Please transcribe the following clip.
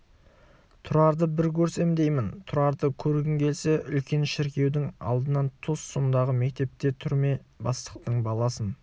тұрарды бір көрсем деймін тұрарды көргің келсе үлкен шіркеудің алдынан тос сондағы мектепке түрме бастықтың баласын